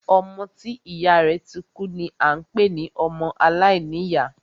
Ọmọ tí ìyá rẹ̀ ti kú ni a ń pé ní ọmọ aláìníyá.